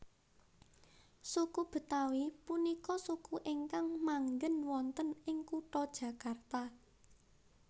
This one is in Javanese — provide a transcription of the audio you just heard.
Suku Betawi punika suku ingkang manggen wonten ing kutha Jakarta